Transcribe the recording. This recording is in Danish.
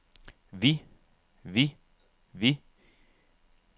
vi vi vi